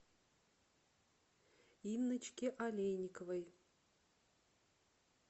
инночке олейниковой